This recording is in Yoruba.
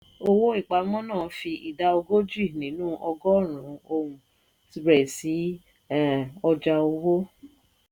owó-ìpamọ́ náà ń fi ìdá ogójì nínú ọgọ́rùn-ún ohun rẹ sí um ọjà owó.